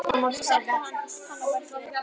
Svo settist hann og bætti við